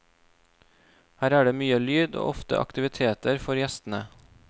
Her er det mye lyd og ofte aktiviteter for gjestene.